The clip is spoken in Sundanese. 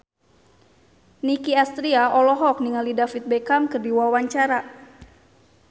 Nicky Astria olohok ningali David Beckham keur diwawancara